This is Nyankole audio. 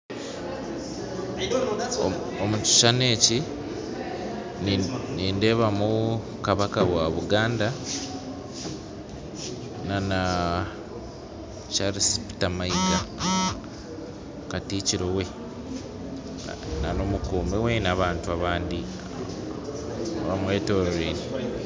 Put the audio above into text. Omukishishani eki nindeebamu Kabaka wa Buganda nana Charles Peter Maiga katikiro we , nana omukuumi we na abantu abandi bamwetorwire.